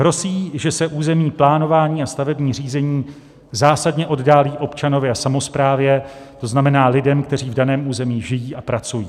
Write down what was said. Hrozí, že se územní plánování a stavební řízení zásadně oddálí občanovi a samosprávě, to znamená lidem, kteří v daném území žijí a pracují.